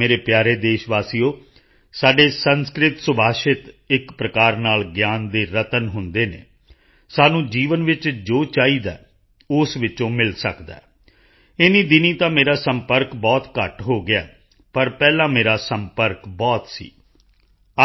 ਮੇਰੇ ਪਿਆਰੇ ਦੇਸ਼ਵਾਸੀਓ ਸਾਡੇ ਸੰਸਕ੍ਰਿਤ ਸੁਭਾਸ਼ਿਤ ਇੱਕ ਪ੍ਰਕਾਰ ਨਾਲ ਗਿਆਨ ਦੇ ਰਤਨ ਹੁੰਦੇ ਹਨ ਸਾਨੂੰ ਜੀਵਨ ਵਿੱਚ ਜੋ ਚਾਹੀਦਾ ਹੈ ਉਸ ਵਿੱਚੋਂ ਮਿਲ ਸਕਦਾ ਹੈ ਇਨ੍ਹੀਂ ਦਿਨੀਂ ਤਾਂ ਮੇਰਾ ਸੰਪਰਕ ਬਹੁਤ ਘੱਟ ਹੋ ਗਿਆ ਹੈ ਪਰ ਪਹਿਲਾਂ ਮੇਰਾ ਸੰਪਰਕ ਬਹੁਤ ਸੀ